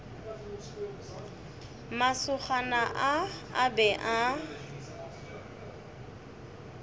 masogana a a be a